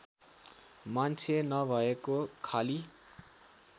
मान्छे नभएको खाली